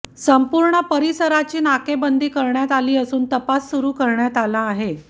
संपूर्ण परिसराची नाकेबंदी करण्यात आली असून तपास सुरू करण्यात आला आहे